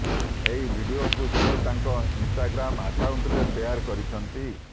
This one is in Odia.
ଏହି ଭିଡିଓକୁ ସେ ତାଙ୍କ ଇନ୍ଷ୍ଟାଗ୍ରାମ୍ ଆକାଉଣ୍ଟରେ ଶେଆର କରିଛନ୍ତି